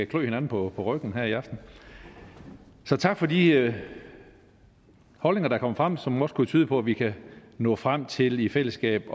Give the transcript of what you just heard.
klø hinanden på ryggen her i aften så tak for de holdninger der kom frem som også kunne tyde på at vi kan nå frem til i fællesskab